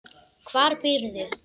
Hvar býrðu?